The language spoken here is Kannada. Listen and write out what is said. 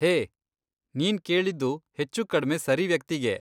ಹೇ, ನಿನ್ ಕೇಳಿದ್ದು ಹೆಚ್ಚುಕಡ್ಮೆ ಸರಿ ವ್ಯಕ್ತಿಗೆ.